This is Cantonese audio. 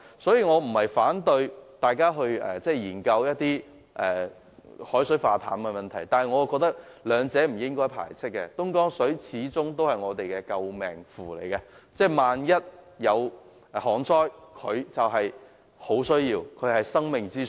所以，我並非反對大家研究海水化淡技術，但我認為兩者是不應互相排斥的，東江水始終也是我們的救命符，萬一出現旱災，我們便會很需要它，它就是生命之水。